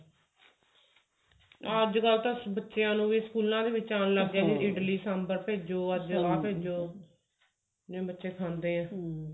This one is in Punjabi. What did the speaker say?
ਅੱਜਕਲ ਤਾਂ ਬੱਚਿਆਂ ਨੂੰ ਵੀ ਸਕੂਲਾਂ ਵਿੱਚ ਆਉਣ ਲੱਗ ਗੇ ਨੇ ਇਡਲੀ ਸਾਂਬਰ ਅੱਜ ਆਹ ਭੇਜੋ ਜਿਵੇਂ ਬੱਚੇ ਖਾਂਦੇ ਆ